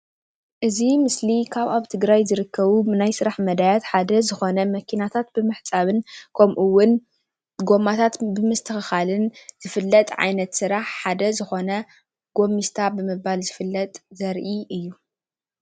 እዚ ምስሊ ካብ አብ ትግራይ ዝርከብ ናይ ስራሕ መዳያት ሓደ ዝኮነ መኪናታት ብምሕጻብ ከም እዉን ጎማታት ብምስትክካል ዝፈለጥ ዓይነት ስራሕ ሓደ ዝኮነ ጎሚስታ ብምባል ዝፈለጥ ዘርኢ እዩ።